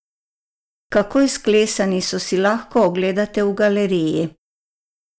Kako izklesani so, si lahko ogledate v galeriji.